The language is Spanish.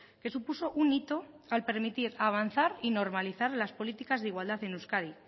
que supuso un hito al permitir avanzar y normalizar las políticas de igualdad en euskadi